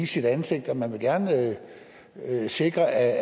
sit ansigt og at man gerne vil sikre at